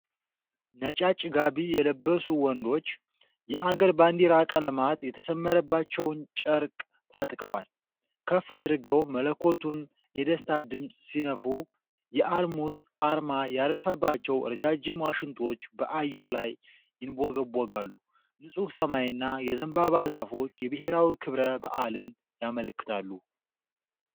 ነጫጭ ጋቢ የለበሱ ወንዶች፣ የአገር ባንዲራ ቀለማት የተሰመረባቸውን ጨርቅ ታጥቀዋል። ከፍ አድርገው መለከቱን የደስታ ድምፅ ሲነፉ፣ የአልሙዝ አርማ ያረፈባቸው ረጃጅም ዋሽንቶች በአየር ላይ ይንቦገቦጋሉ። ንፁህ ሰማይና የዘንባባ ዛፎች የብሔራዊ ክብረ በዓልን ያመለክታሉ።